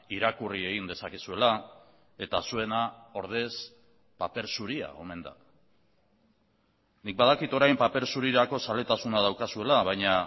irakurri egin dezakezuela eta zuena ordez paper zuria omen da nik badakit orain paper zurirako zaletasuna daukazuela baina